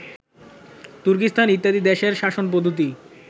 তুর্কীস্থান ইত্যাদি দেশের শাসনপদ্ধতি